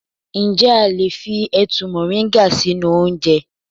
Ǹjẹ́ a lè fi ẹ̀tu moringa sínú oúnjẹ.